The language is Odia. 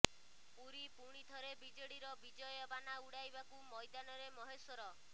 ପୁରୀ ପୁଣିଥରେ ବିଜେଡିର ବିଜୟ ବାନା ଉଡାଇବାକୁ ମୈଦାନରେ ମହେଶ୍ୱର